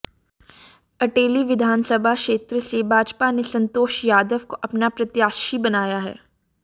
अटेली विधानसभा क्षेत्र से भाजपा ने संतोष यादव को अपना प्रत्याशी बनाया है